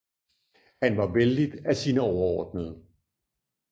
Han var vellidt af sine overordnede